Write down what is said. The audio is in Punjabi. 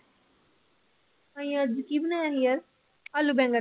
ਅਸੀਂ ਅੱਜ ਕੀ ਬਣਾਇਆ ਸੀ ਯਾਰ ਆਲੂ ਬੈਂਗਣ।